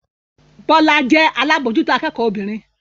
Bọ́lá jẹ́ alábòójútó akẹ́kọ̀ọ́ obìnrin